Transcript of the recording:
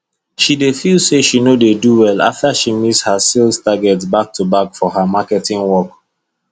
she dey feel say she no dey do well after she miss her sales target backtoback for her marketing work